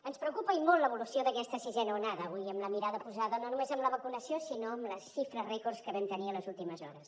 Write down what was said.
ens preocupa i molt l’evolució d’aquesta sisena onada avui amb la mirada posada no només en la vacunació sinó en les xifres rècords que hem tingut en les últimes hores